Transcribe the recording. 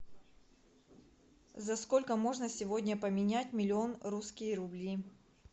за сколько можно сегодня поменять миллион русские рубли